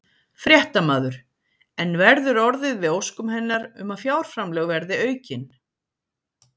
Fréttamaður: En verður orðið við óskum hennar um að fjárframlög verið aukin?